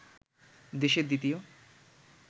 দেশের দ্বিতীয়